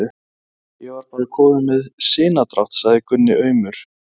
Ég var bara kominn með sinadrátt, sagði Gunni aumur.